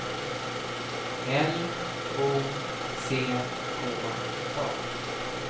L O C K A